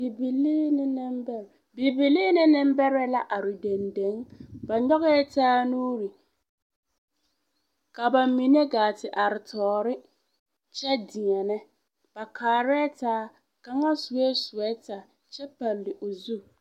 Bibilii ne nembɛrɛ la are dendeŋ ba nyɔgɛɛ taa nuuri ka bamine gaa te are tɔɔre kyɛ deɛnɛ ba kaarɛɛ taa kaŋa sue sowɛta kyɛ palle o zu.